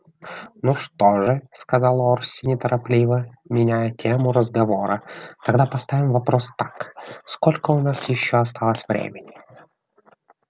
ну что же сказал орси неторопливо меняя тему разговора тогда поставим вопрос так сколько у нас ещё осталось времени